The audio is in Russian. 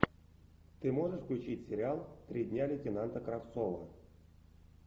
ты можешь включить сериал три дня лейтенанта кравцова